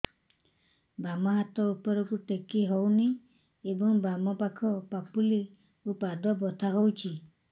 ବାମ ହାତ ଉପରକୁ ଟେକି ହଉନି ଏବଂ ବାମ ପାଖ ପାପୁଲି ଓ ପାଦ ବଥା ହଉଚି